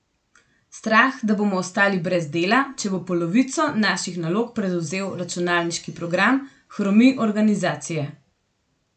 Strah, da bomo ostali brez dela, če bo polovico naših nalog prevzel računalniški program, hromi organizacije.